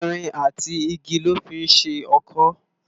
Irin àtí igi lò fi n ṣé òkõ